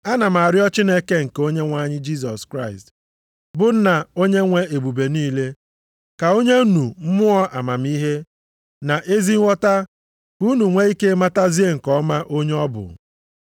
Ana m arịọ Chineke nke Onyenwe anyị Jisọs Kraịst bụ Nna Onyenwe ebube niile, ka o nye unu Mmụọ amamihe na ezi nghọta ka unu nwee ike matazie nke ọma onye ọ bụ,